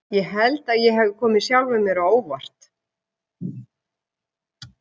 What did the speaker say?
Ég held að ég hafi komið sjálfum mér á óvart.